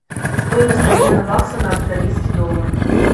стоимость обмена бакса на австралийский доллар